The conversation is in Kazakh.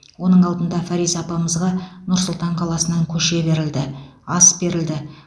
оның алдында фариза апамызға нұр сұлтан қаласынан көше берілді ас берілді